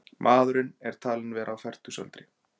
Maðurinn er talinn vera á fertugsaldri